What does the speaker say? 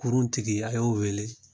Kurun tigi a y'o wele